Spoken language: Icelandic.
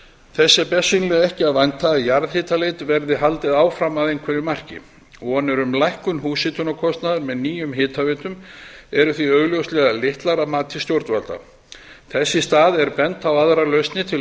er bersýnilega ekki að vænta að jarðhitaleit verði haldið áfram að einhverju marki vonir um lækkun húshitunarkostnaðar með nýjum hitaveitum eru því augljóslega litlar að mati stjórnvalda þess í stað er bent á aðrar lausnir til